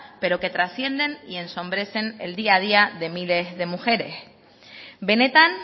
pero que trascienden y ensombrecen el día a día de miles de mujeres benetan